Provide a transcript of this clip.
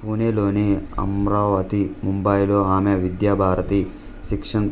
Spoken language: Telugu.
పూణెలోని అమ్రావతి ముంబైలో ఆమె విద్యా భారతి శిక్షన్